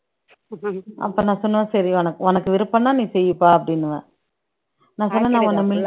அப்ப நான் சொன்னேன் சரி உனக்கு உனக்கு விருப்பம்ன்னா நீ செய்ப்பா அப்படின்னுவேன் நான் சொன்னேன் நான் உன்ன